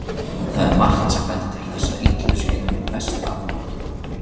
Það er margt sem bendir til þess að illu sé einmitt best aflokið.